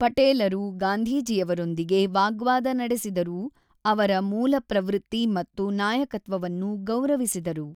ಪಟೇಲರು ಗಾಂಧೀಜಿಯವರೊಂದಿಗೆ ವಾಗ್ವಾದ ನಡೆಸಿದರೂ, ಅವರ ಮೂಲಪ್ರವೃತ್ತಿ ಮತ್ತು ನಾಯಕತ್ವವನ್ನು ಗೌರವಿಸಿದರು.